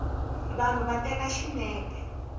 vanhu va teka xinepe